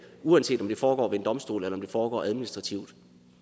uanset om det foregår ved en domstol eller om det foregår administrativt